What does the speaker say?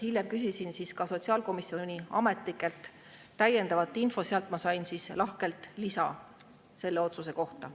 Hiljem küsisin ka sotsiaalkomisjoni ametnikelt täiendavat infot, sealt ma sain lahkelt lisa selle otsuse kohta.